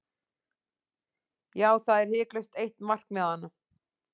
Já, það er hiklaust eitt markmiðanna.